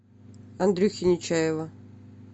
андрюхи нечаева